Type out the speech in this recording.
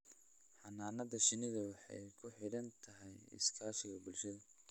Xannaanada shinnidu waxay ku xidhan tahay iskaashiga bulshada.